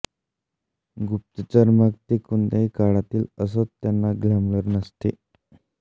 गुप्तचर मग ते कोणत्याही काळातील असोत त्यांना ग्लॅमर नसते